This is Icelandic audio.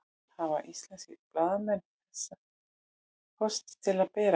Hafa íslenskir blaðamenn þessa kosti til að bera?